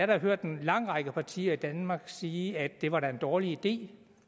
da hørt en lang række partier i danmarks sige at det var en dårlig idé